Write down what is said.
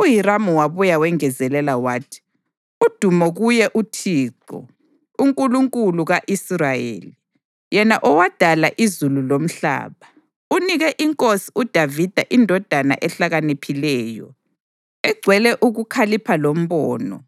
UHiramu wabuye wengezelela wathi: “Udumo kuye uThixo, uNkulunkulu ka-Israyeli, yena owadala izulu lomhlaba! Unike inkosi uDavida indodana ehlakaniphileyo, egcwele ukukhalipha lombono,